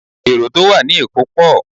Èrò tó wà ní èkó pọ̀